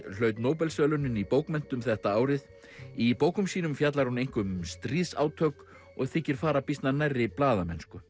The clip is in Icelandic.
hlaut Nóbelsverðlaunin í bókmenntum þetta árið í bókum sínum fjallar hún einkum um stríðsátök og þykir fara býsna nærri blaðamennsku